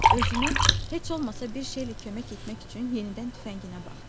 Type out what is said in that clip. Özünə heç olmasa bir şeylə kömək etmək üçün yenidən tüfənginə baxdı.